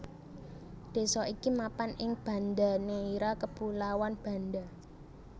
Désa iki mapan ing Banda Neira Kepulauan Banda